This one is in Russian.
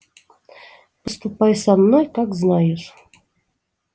поступай со мной как знаешь